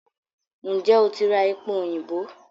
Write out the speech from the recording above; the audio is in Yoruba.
N jẹ́ o ti ra epo òyìnbó?